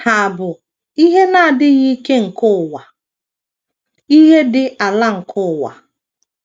Ha bụ “ ihe na - adịghị ike nke ụwa, ”“ ihe dị ala nke ụwa. ”